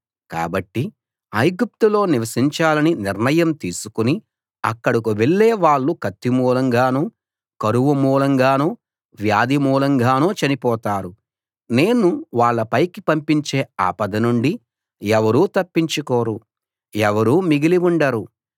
కాబట్టి ఐగుప్తులో నివసించాలని నిర్ణయం తీసుకుని అక్కడకు వెళ్ళే వాళ్ళు కత్తి మూలంగానో కరువు మూలంగానో వ్యాధి మూలంగానో చనిపోతారు నేను వాళ్ళ పైకి పంపించే ఆపద నుండి ఎవరూ తప్పించుకోరు ఎవరూ మిగిలి ఉండరు